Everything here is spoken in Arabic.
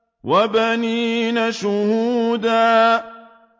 وَبَنِينَ شُهُودًا